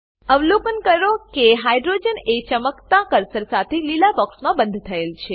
અવલોકન કરો કે હાઇડ્રોજન એ ચમકતા કર્સર સાથે લીલા બોક્સમાં બંધ થયેલ છે